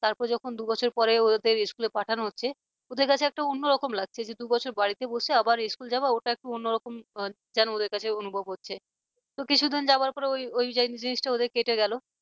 তারপর যখন দু বছর পরে ওদের school পাঠানো হচ্ছে ওদের কাছে একটা অন্যরকম লাগছে যেহেতু দু'বছর বাড়িতে বসে আবার school যাওয়া ওটা একটা অন্যরকম যেন ওদের কাছে অনুভব হচ্ছে তো কিছুদিন যাবার পর ওই ওই জিনিসটা ওদের কেটে গেল